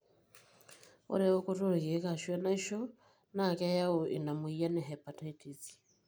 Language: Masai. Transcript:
ore eokoto olkeek ashu enaishona keyau ina moyian e hepatitis.